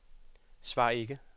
svar ikke